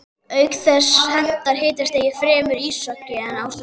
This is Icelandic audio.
Auk þess hentar hitastigið fremur íshokkí en ástarleik.